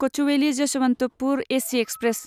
Kochuveli Yesvantpur AC express